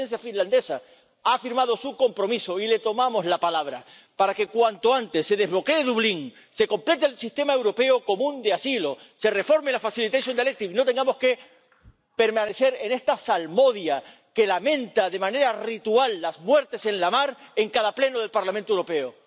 La Presidencia finlandesa ha afirmado su compromiso y le tomamos la palabra para que, cuanto antes, se desbloquee el Reglamento de Dublín, se complete el Sistema Europeo Común de Asilo, se reforme la Directiva de ayuda, y no tengamos que permanecer en esta salmodia, que lamenta de manera ritual las muertes en la mar en cada pleno del Parlamento Europeo.